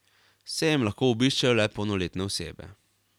Sejem lahko obiščejo le polnoletne osebe.